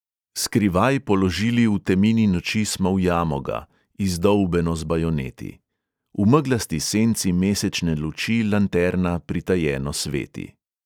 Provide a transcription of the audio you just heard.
Skrivaj položili v temini noči smo v jamo ga, izdolbeno z bajoneti; v meglasti senci mesečne luči lanterna pritajeno sveti.